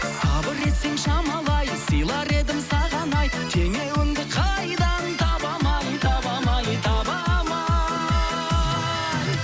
сабыр етсең шамалы ай сыйлар едім саған ай теңеуіңді қайдан табам ай табам ай табам ай